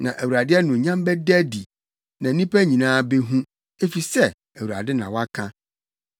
Na Awurade anuonyam bɛda adi, na nnipa nyinaa behu. Efisɛ Awurade na waka!”